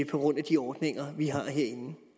grund af de ordninger vi har herinde